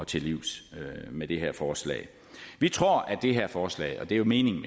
til livs med det her forslag vi tror at det her forslag og det er jo meningen